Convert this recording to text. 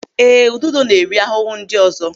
Ee, ududo na-eri ahụhụ ndị ọzọ.